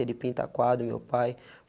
Ele pinta quadro, meu pai.